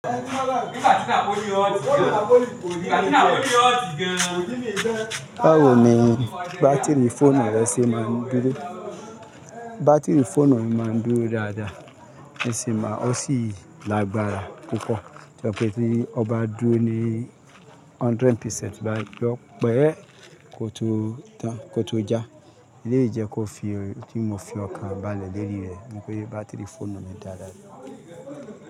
Báwo ni bátìrì fóònù rẹ ṣe máa ń dúró? Bátìrì fóònù mi má ń dúró dáadáa, ó sì lágbára púpọ̀. Tó jé pé tí ó bá dúró ní hundred percent báyìí yọ pẹ́ kò tó já, eléyìí jẹ kó fi, tí mo fi ọkàn bá lẹ̀ lérí rẹ̀ pé bátìrì fóònù mi dáadáa.